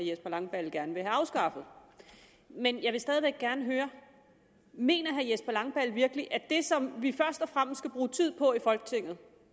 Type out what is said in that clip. jesper langballe gerne vil have afskaffet men jeg vil stadig væk gerne høre mener herre jesper langballe virkelig at det som vi først og fremme skal bruge tid på i folketinget